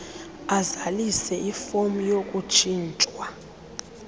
azalise ifom yokutshintshwa